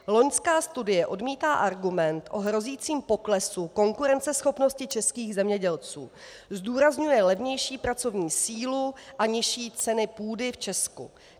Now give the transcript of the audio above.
Loňská studie odmítá argument o hrozícím poklesu konkurenceschopnosti českých zemědělců, zdůrazňuje levnější pracovní sílu a nižší cenu půdy v Česku.